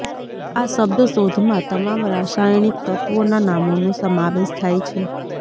આ શબ્દ શોધમાં તમામ રાસાયણિક તત્વોના નામોનો સમાવેશ થાય છે